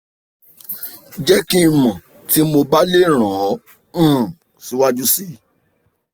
jẹ ki n mọ ti mo ba le ran ọ um siwaju sii